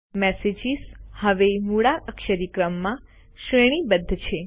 messages હવે મૂળાક્ષરી ક્રમમાં શ્રેણીબદ્ધ છે